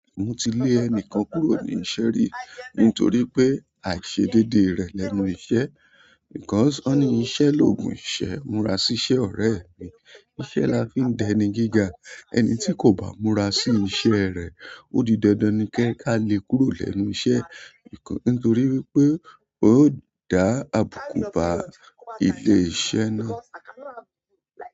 Mo ti lé ẹnìkan kúrò ní iṣẹ́ rí nítorí pé àìṣedédé rẹ̀ lẹ́nu iṣẹ́. Because wọ́n nì íṣẹ́ lòògùn ìṣẹ́ múra síṣẹ́ ọ̀rẹ́ mi. Iṣẹ́ la fi ń dẹni gíga. Ẹni tí kò bá múra sí iṣẹ́ rẹ̀ o di dandan ni ká lè kúrò lẹ́nu iṣẹ́ nítorí wípé yó dá àbùkù bá ilé iṣẹ́ náà.